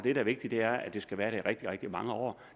er vigtigt er at det skal være der i rigtig rigtig mange år